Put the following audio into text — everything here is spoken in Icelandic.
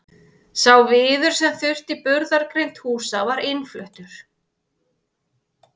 Sá viður sem þurfti í burðargrind húsa var innfluttur.